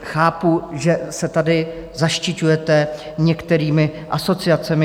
Chápu, že se tady zaštiťujete některými asociacemi.